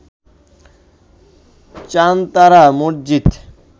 Chantara Masjid